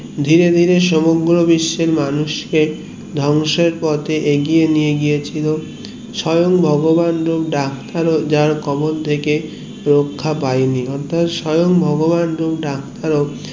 ধীরে ধীরে সমগ্র বিশ্বের মানুষকে ধ্বংসের পথে এগিয়ে নিয়ে গিয়েছিলো স্বয়ং ভগবান হোক ডাক্তার হোক যার কবল থেকে রক্ষা পাইনি অর্থাৎ স্বয়ং ভগবান ও ডাক্তার